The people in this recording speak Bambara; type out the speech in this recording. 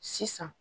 Sisan